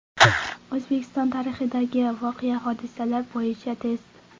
O‘zbekiston tarixidagi voqea-hodisalar bo‘yicha test.